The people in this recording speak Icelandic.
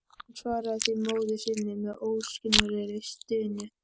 Hann svaraði því móður sinni með óskiljanlegri stunu.